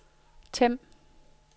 Them